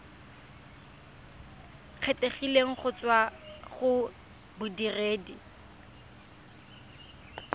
kgethegileng go tswa go bodiredi